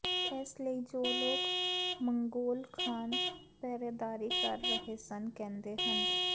ਇਸ ਲਈ ਜੋ ਲੋਕ ਮੰਗੋਲ ਖਾਨ ਪਹਿਰੇਦਾਰੀ ਕਰ ਰਹੇ ਸਨ ਕਹਿੰਦੇ ਹਨ